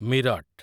Meerut